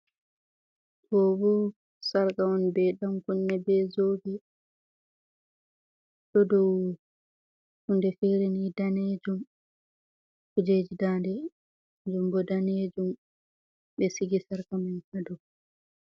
Ɗo bo sarka on be dan kunne be zobe ɗo dow hunɗe fireni danejum kujeji ɗande kanjum bo danejum be sigi sarka man ha dow.